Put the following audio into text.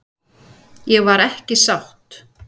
Ég var ekki sátt.